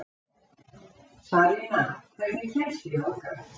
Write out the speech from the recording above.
Sarína, hvernig kemst ég þangað?